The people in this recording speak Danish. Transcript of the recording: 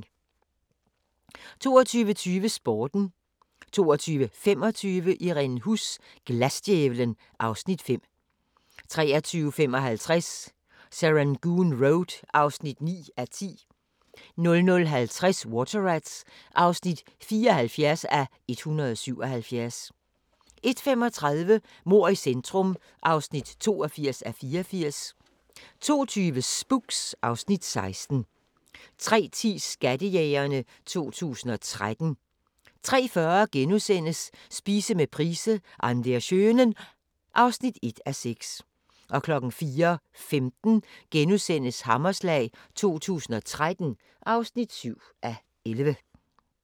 22:20: Sporten 22:25: Irene Huss: Glasdjævlen (Afs. 5) 23:55: Serangoon Road (9:10) 00:50: Water Rats (74:177) 01:35: Mord i centrum (82:84) 02:20: Spooks (Afs. 16) 03:10: Skattejægerne 2013 03:40: Spise med price - An der schönen ... (1:6)* 04:15: Hammerslag 2013 (7:11)*